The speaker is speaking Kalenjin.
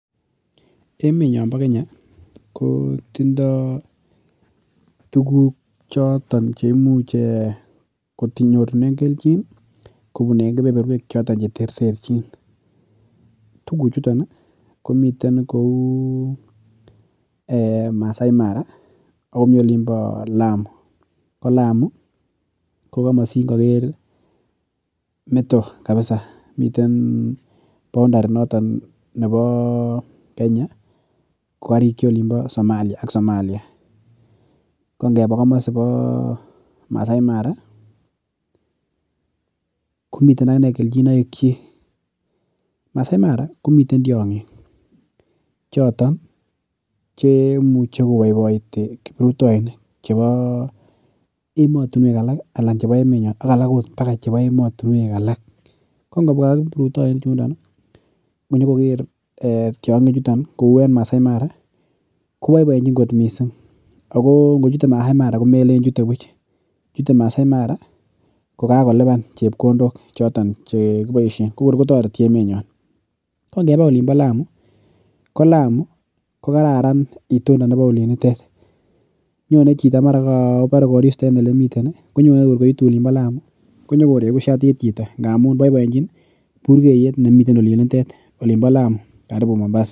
Emet nyon bo kenya ko tindoo tuguk choton cheimuch konyorunen kelchin ih kobun kebeberuek cheterterchin , tuguk chuton ih. komiten kou Masai Mara Olin bo lamu, ko masingaker ih meto kabisa. boundary nebo kokarikyi somalia olimbo Masai Mara, komiten agine kelchinoik. Masai Mara komiten cheimuche kobaite kiruptoinik chebo ematuneuk ak alak emotinuek alak ko ngobua kibrutainik chuton ingonyokoker tiang'ik chuton ih kouu en Masai Mara ih kouu en Masai Mara koboiboienchin kot missing. Ako ngochute masai mara komache chutet buch kotareti ko ngebaa Olin bo lamu ko lamu ko kararan itondab oliinitet nyone chito kobare konyone kor koitu Olin bo lamu konyokoregu shatit chito. Kobaiboenchin bukeyet nemi oliinitet.